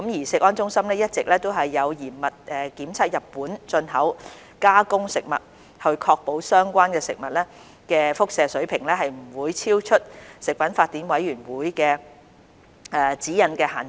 食安中心一直有嚴密檢測日本進口加工食物，以確保相關食物的輻射水平不會超出國際食品法典委員會的指引限值。